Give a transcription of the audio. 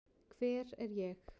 Hver er ég?